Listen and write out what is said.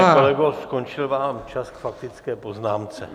Pane kolego, skončil vám čas k faktické poznámce.